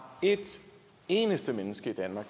et eneste menneske i danmark